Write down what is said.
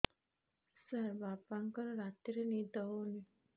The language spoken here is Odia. ସାର ବାପାଙ୍କର ରାତିରେ ନିଦ ହଉନି